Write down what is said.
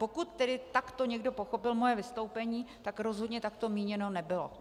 Pokud tedy takto někdo pochopil moje vystoupení, tak rozhodně tak to míněno nebylo.